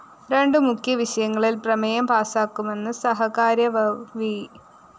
രണ്ടു മുഖ്യ വിഷയങ്ങളില്‍ പ്രമേയം പാസാക്കുമെന്ന് സഹകാര്യവാഹ് വി